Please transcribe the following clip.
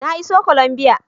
Na iso Colombia